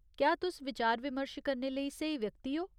क्या तुस विचार विमर्श करने लेई स्हेई व्यक्ति ओ?